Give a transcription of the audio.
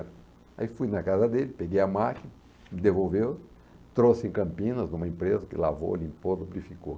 Aí fui na casa dele, peguei a máquina, devolveu, trouxe em Campinas, numa empresa que lavou, limpou, lubrificou.